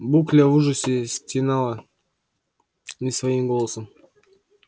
букля в ужасе стенала не своим голосом